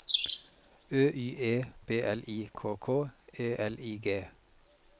Ø Y E B L I K K E L I G